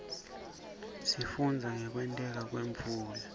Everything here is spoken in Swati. sifundza ngekwenteka kwemvula